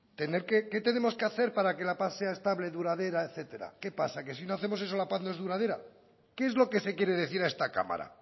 tener que qué tenemos que hacer para que la paz sea estable duradera etcétera qué pasa que si no hacemos eso la paz no es duradera qué es lo que se quiere decir a esta cámara